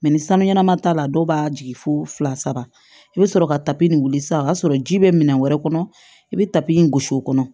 ni sanu ɲɛnama t'a la dɔw b'a jigin fo fila saba i bɛ sɔrɔ ka tapi in wili sisan o y'a sɔrɔ ji bɛ minɛn wɛrɛ kɔnɔ i bɛ tabi in gosi o kɔnɔ